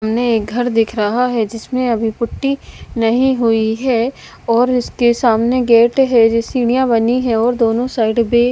सामने एक घर दिख रहा है जिसमें अभी पुट्टी नहीं हुई है और इसके सामने गेट है जो सीढ़ियां बनी है और दोनों साइड पे--